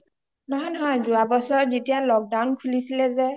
নহয় নহয় যোৱা বছৰেই যেতিয়া lockdown খোলিছিলে যে